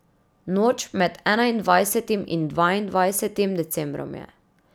Noč med enaindvajsetim in dvaindvajsetim decembrom je.